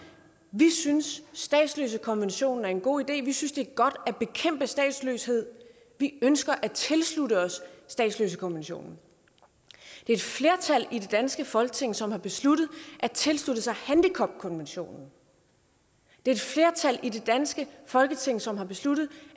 vi synes statsløsekonventionen er en god idé vi synes det er godt at bekæmpe statsløshed vi ønsker at tilslutte os statsløsekonventionen det er et flertal i det danske folketing som har besluttet at tilslutte sig handicapkonventionen det er et flertal i det danske folketing som har besluttet